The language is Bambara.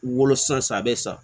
Wolosan san a bɛ sa